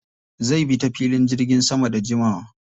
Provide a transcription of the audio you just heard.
Zai bi ta filin jirgin sama da jimawa.